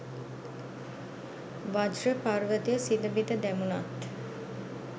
වජ්ර පර්වතය සිඳ බිඳ දැමුණත්